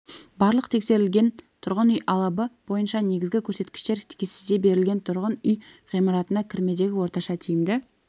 барлық тексерілген тұрғын үй алабы бойынша негізгі көрсеткіштер кестеде берілген тұрғын үй ғимаратына кірмедегі орташа тиімді